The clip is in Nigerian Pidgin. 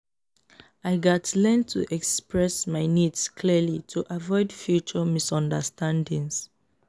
i gats learn to express my needs clearly to avoid future misunderstandings.